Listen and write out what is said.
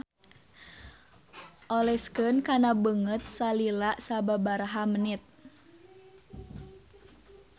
Oleskeun kana beungeut salila sababaraha menit.